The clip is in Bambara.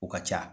U ka ca